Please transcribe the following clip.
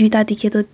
duita dekhi tu--